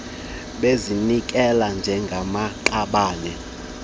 bezinikele njengamaqabane bathuthe